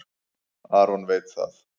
Aron veit það.